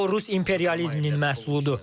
O, rus imperializminin məhsuludur.